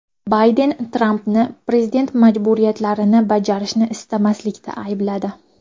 Bayden Trampni prezident majburiyatlarini bajarishni istamaslikda aybladi.